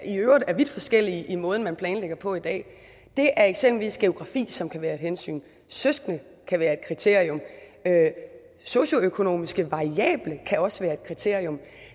i øvrigt er vidt forskellige i måden man planlægger på i dag det er eksempelvis geografi som kan være et hensyn søskende kan være et kriterium socioøkonomiske variabler kan også være et kriterium